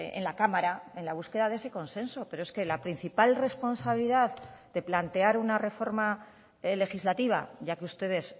en la cámara en la búsqueda de ese consenso pero es que la principal responsabilidad de plantear una reforma legislativa ya que ustedes